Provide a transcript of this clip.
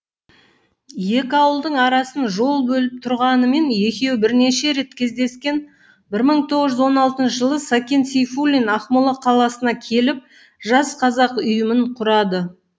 екі ауылдың арасын жол бөліп тұрғанымен екеуі бірнеше рет кездескен бір мың тоғыз он алтыншы жылы сәкен сейфуллин ақмола қаласына келіп жас қазақ ұйымын құрады